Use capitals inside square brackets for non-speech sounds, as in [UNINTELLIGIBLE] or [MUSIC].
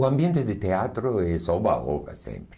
O ambiente de teatro é [UNINTELLIGIBLE] sempre.